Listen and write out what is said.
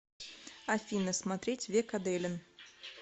афина смотреть век аделин